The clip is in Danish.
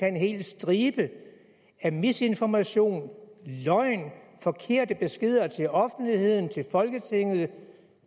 en hel stribe af misinformation løgn forkerte beskeder til offentligheden til folketinget